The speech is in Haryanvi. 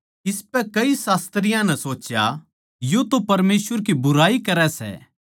इसपै कई शास्त्रियाँ नै सोच्या यो तो परमेसवर की बुराई करै सै